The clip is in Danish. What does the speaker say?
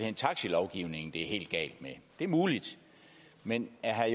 er taxalovgivningen er helt galt med det er muligt men er